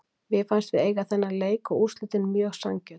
Mé fannst við eiga þennan leik og úrslitin voru mjög sanngjörn.